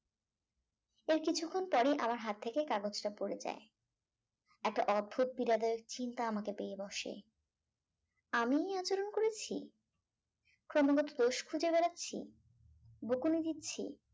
এর কিছুক্ষন পরে আমার হাত থেকে কাগজটা পড়ে যায় একটা অদ্ভুত পীড়াদায়ক চিন্তা আমাকে পেয়ে বসে আমিই এই আচরণ করেছি ক্রমাগত দোষ খুঁজে বেড়াচ্ছি বকুনি দিচ্ছি